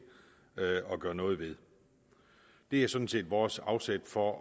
og gøre noget ved det er sådan set vores afsæt for